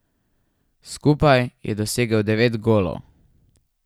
Skupaj je dosegel devet golov.